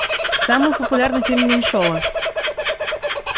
самый популярный фильм меньшова